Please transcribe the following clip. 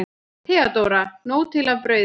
THEODÓRA: Nóg til af brauði!